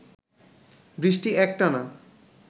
বৃষ্টি একটানা